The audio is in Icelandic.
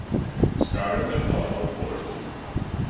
Skagamenn hafa náð forystunni